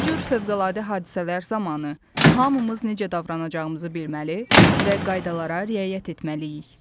Bu cür fövqəladə hadisələr zamanı hamımız necə davranacağımızı bilməli və qaydalara riayət etməliyik.